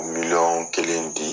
Miliyɔn kelen di.